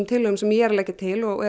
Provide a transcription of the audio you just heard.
tillögur sem ég er að leggja til og